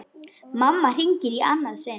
Mamma hringir í annað sinn.